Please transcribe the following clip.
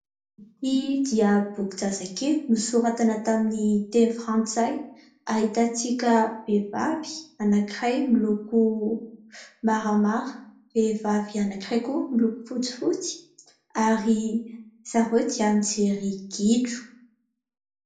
Ity dia bokin-jazakely, nosoratana tamin'ny teny frantsay, ahitantsika vehivavy anankiray miloko maramara, vehivavy anankiray koa miloko fotsifotsy ary zareo dia mijery gidro.